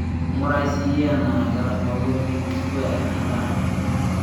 ing'urai siyie enaa ketabawua big square endaaa